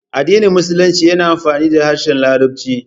Addinin Musulunci yana amfani da harshen Larabci.